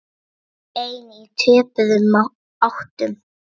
Tvö ein í töpuðum áttum.